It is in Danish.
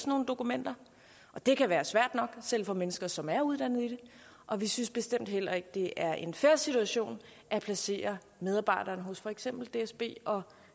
nogle dokumenter det kan være svært nok selv for mennesker som er uddannet i det og vi synes bestemt heller ikke at det er en fair situation at placere medarbejderne hos for eksempel dsb og